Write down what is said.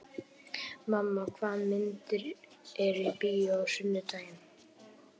Kamma, hvaða myndir eru í bíó á sunnudaginn?